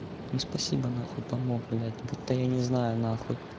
ну спасибо нахуй помог блядь будто я не знаю нахуй